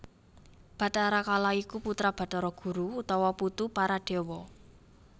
Bathara Kala iku putra Bathara Guru utawa putu para déwa